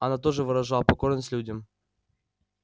она тоже выражала покорность людям